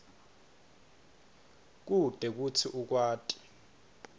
kute kutsi ukwati